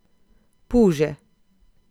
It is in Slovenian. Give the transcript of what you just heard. Puže.